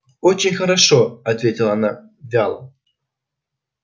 очень хорошо ответила она вяло